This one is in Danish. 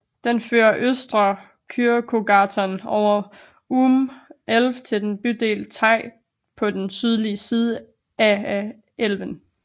Den fører Östra Kyrkogatan over Ume älv til den bydelen Teg på den sydlige side af af elven